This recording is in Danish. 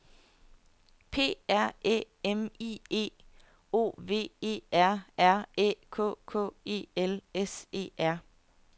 P R Æ M I E O V E R R Æ K K E L S E R